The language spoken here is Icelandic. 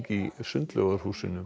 í